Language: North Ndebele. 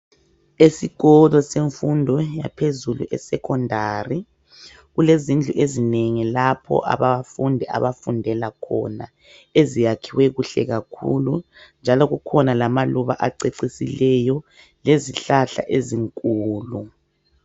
Esikolo semfundo yaphezulu eSecondary kulezindlu ezinengi lapho abafundi abafundela khona eziyakhiwe kuhle kakhulu njalo kukhona lamaluba acecisileyo lezihlahla ezinkulu.